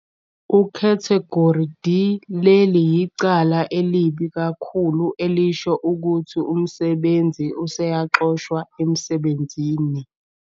Ukhathegori D- Leli yicala elibi kakhulu elisho ukuthi umsebenzi useyaxoshwa emsebenzini.